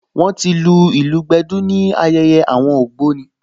Wọ́n ti lu ìlù gbẹ̀dú ní ayẹyẹ àwọn ògbóni